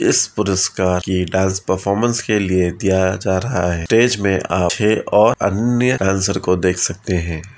इस पुरस्कार के डांस परफॉर्मेंस के लिए दिया जा रहा है स्टेज में आप छे और अन्य डांसर को देख सकते हैं।